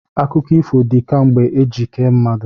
Akụkọ ifo dị kemgbe eji kee mmadụ.